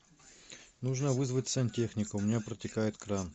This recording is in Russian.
нужно вызвать сантехника у меня протекает кран